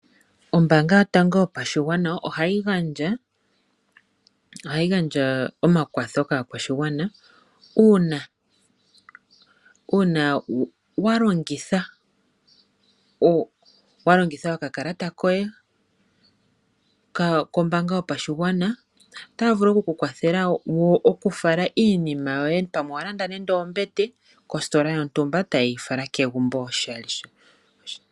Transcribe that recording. Ombaanga yotango yopashigwana ohayi gandja omakwatho kaakwashigwana uuna wa longitha okakalata koye kombaanga yopashigwana. Otaya vulu oku ku kwathela wo okufala iinima yoye pamwe owa landa nande ombete kositola yontumba etaye yi fala kegumbo oshali.